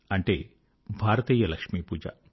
అంటే భారతీయ లక్ష్మీపూజ